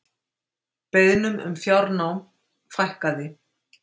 Beiðnum um fjárnám fækkaði